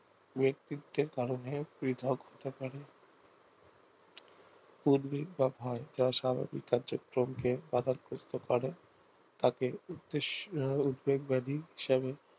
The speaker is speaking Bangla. ব্যাক্তিত্বের কারণে পৃথক পৃথক ভাবে উদ্বেগ বা ভয় যা স্বাভাবিক কার্যক্রমকে বাধাগ্রস্ত করে তাকে উদ্বেগ ব্যাধি হিসাবে